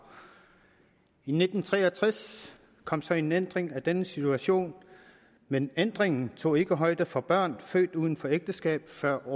i nitten tre og tres kom så en ændring af denne situation men ændringen tog ikke højde for børn født uden for ægteskab før